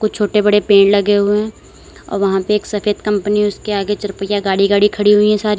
छोटे बड़े पेड़ लगे हुए हैं अ वहां पे एक सफेद कंपनी उसके आगे चार पहिया गाड़ी गाड़ी खड़ी हुई है सारी--